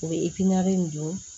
U bɛ nin don